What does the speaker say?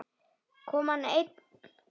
Kom hann einn?